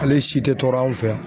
Ale si tɛ tɔɔrɔ anw fɛ yan.